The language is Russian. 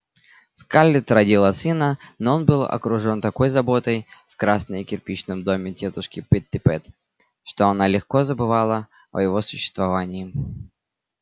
скарлетт родила сына но он был окружён такой заботой в красной кирпичном доме тётушки питтипэт что она легко забывала о его существовании